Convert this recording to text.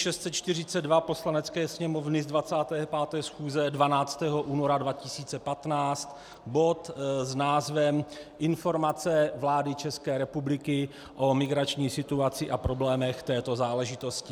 Poslanecké sněmovny z 25. schůze 12. února 2015 bod s názvem Informace vlády České republiky o migrační situaci a problémech této záležitosti.